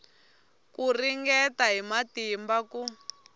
ku ringeta hi matimba ku